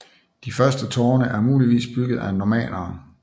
De første tårne er muligvis bygget af normannere